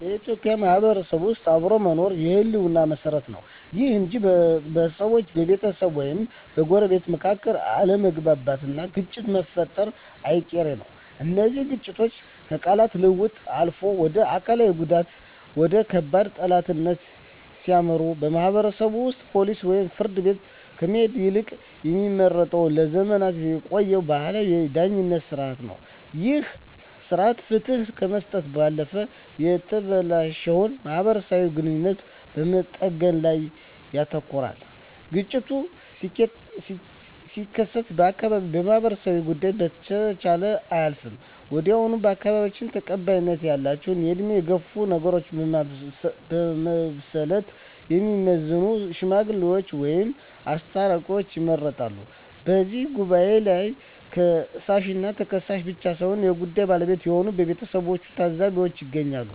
በኢትዮጵያ ማህበረሰብ ውስጥ አብሮ መኖር የህልውና መሰረት ነው። ይሁን እንጂ በሰዎች፣ በቤተሰብ ወይም በጎረቤቶች መካከል አለመግባባትና ግጭት መፈጠሩ አይቀርም። እነዚህ ግጭቶች ከቃላት ልውውጥ አልፈው ወደ አካላዊ ጉዳትና ወደ ከባድ ጠላትነት ሲያመሩ፣ ማህበረሰቡ ወደ ፖሊስ ወይም ፍርድ ቤት ከመሄድ ይልቅ የሚመርጠው ለዘመናት የቆየውን ባህላዊ የዳኝነት ሥርዓት ነው። ይህ ሥርዓት ፍትህ ከመስጠት ባለፈ የተበላሸውን ማህበራዊ ግንኙነት በመጠገን ላይ ያተኩራል። ግጭቱ ሲከሰት የአካባቢው ማህበረሰብ ጉዳዩን በቸልታ አያልፈውም። ወዲያውኑ በአካባቢው ተቀባይነት ያላቸው፣ በዕድሜ የገፉና ነገሮችን በብስለት የሚመዝኑ "ሽማግሌዎች" ወይም "አስታራቂዎች" ይመረጣሉ። በዚህ ጉባኤ ላይ ከሳሽና ተከሳሽ ብቻ ሳይሆኑ የጉዳዩ ባለቤቶች የሆኑት ቤተሰቦችና ታዘቢዎችም ይገኛሉ።